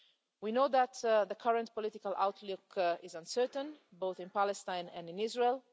We know that the current political outlook is uncertain, both in Palestine and in Israel.